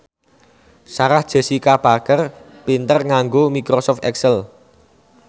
Sarah Jessica Parker pinter nganggo microsoft excel